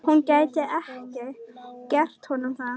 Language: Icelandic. Hún gæti ekki gert honum það.